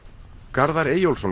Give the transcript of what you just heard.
Garðar Eyjólfsson